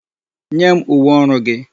Nye m uwe ọrụ gị!